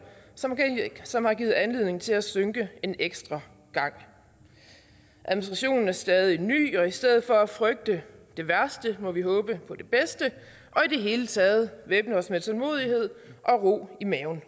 som har givet anledning til at synke en ekstra gang administrationen er stadig ny og i stedet for at frygte det værste må vi håbe på det bedste og i det hele taget væbne os med tålmodighed og ro i maven